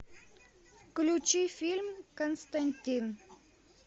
включи фильм константин